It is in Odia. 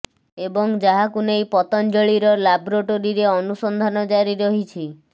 ଏବଂ ଯାହାକୁ ନେଇ ପତଞ୍ଜଳିର ଲାବ୍ରୋଟାରୀରେ ଅନୁସନ୍ଧାନ ଜାରି ରହିଛି